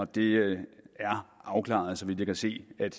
det er afklaret så vidt jeg kan se at